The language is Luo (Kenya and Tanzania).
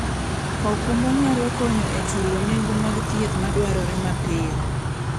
okumba nyalo konyo e chulo nengo mag thieth madwarore mapiyo.